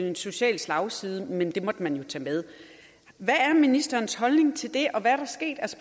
en social slagside men at det måtte man tage med hvad er ministerens holdning til det og hvad